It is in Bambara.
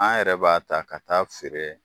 An yɛrɛ b'a ta ka t'a feere